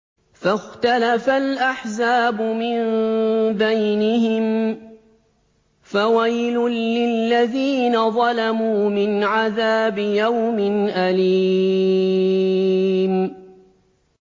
فَاخْتَلَفَ الْأَحْزَابُ مِن بَيْنِهِمْ ۖ فَوَيْلٌ لِّلَّذِينَ ظَلَمُوا مِنْ عَذَابِ يَوْمٍ أَلِيمٍ